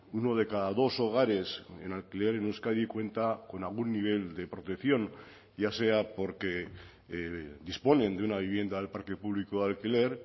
uno de cada dos hogares en alquiler en euskadi cuenta con algún nivel de protección ya sea porque disponen de una vivienda del parque público de alquiler